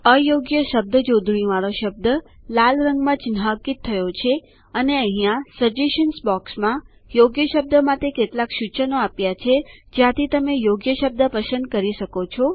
અયોગ્ય શબ્દ જોડણીવાળો શબ્દ લાલ રંગમાં ચિન્હાંકિત થયો છે અને અહીંયા સજેશન્સ બોક્સમાં યોગ્ય શબ્દ માટે કેટલાક સૂચનો આપ્યા છે જ્યાંથી તમે યોગ્ય શબ્દ પસંદ કરી શકો છો